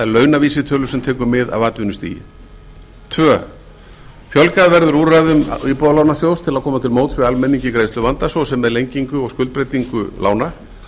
launavísitölu sem tekur mið af atvinnustigi annars fjölgað verður úrræðum íbúðalánasjóði til að koma til móts við almenning í greiðsluvanda svo sem með lengingu og skuldbreytingu lána